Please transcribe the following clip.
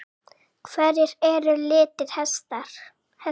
Hverjir eru litir hesta?